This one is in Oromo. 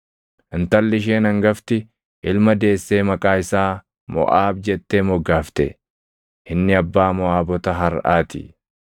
Intalli isheen hangafti ilma deessee maqaa isaa Moʼaab jettee moggaafte. Inni abbaa Moʼaabota harʼaa ti.